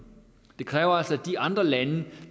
det kræver altså at de andre lande